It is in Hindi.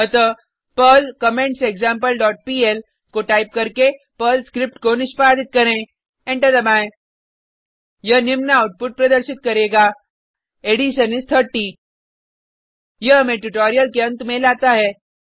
अतः पर्ल कमेंटसेक्सम्पल डॉट पीएल को टाइप करके स्क्रिप्ट को निष्पादित करें एंटर दबाएँ यह निम्न आउटपुट प्रदर्शित करेगा एडिशन इस 30 यह हमें ट्यूटोरियल के अंत में लाता है